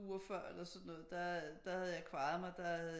Uger før eller sådan noget der havde jeg kvajet mig der havde